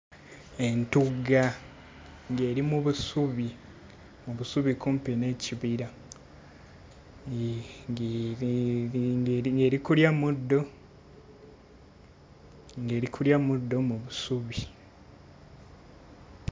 Entugga ng'eri mu busubi mu busubi kumpi n'ekibira ng'e ng'eri, ng'eri ng'eri kulya muddo ng'eri kulya muddo mu busubi.